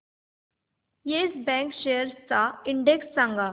yes Bank shares चा index सांगा